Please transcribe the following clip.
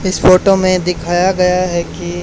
इस फोटो में दिखाया गया है कि--